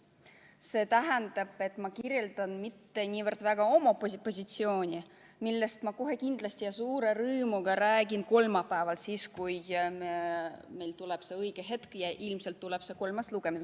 See tähendab, et ma ei kirjelda mitte niivõrd väga oma positsiooni, millest ma kohe kindlasti ja suure rõõmuga räägin kolmapäeval, kui on õige hetk ja ilmselt tuleb see kolmas lugemine.